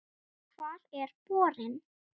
Hvar er borinn?